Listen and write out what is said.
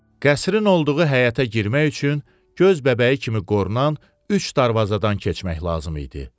Qəsrin olduğu həyətə girmək üçün göz bəbəyi kimi qorunan üç darvazadan keçmək lazım idi.